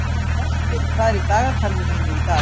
Brestir, hvað er í dagatalinu mínu í dag?